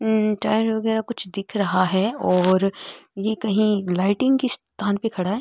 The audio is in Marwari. टायर वगेरा कुछ दिख रहा है और ये कही लाइटिंग के स्थान पर खड़ा है।